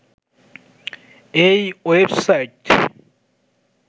এই ওয়েবসাইট